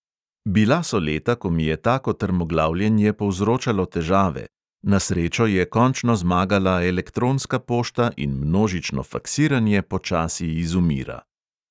Bila so leta, ko mi je tako trmoglavljenje povzročalo težave; na srečo je končno zmagala elektronska pošta in množično faksiranje počasi izumira.